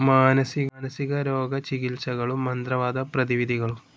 മാനസികരോഗ ചികിത്സകളും. മന്ത്രവാദ പ്രതിവിധികളും